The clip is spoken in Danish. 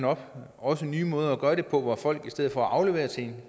op også nye måder at gøre det på hvor folk i stedet for at aflevere til